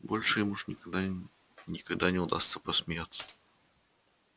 больше им уж никогда никогда не удастся посмеяться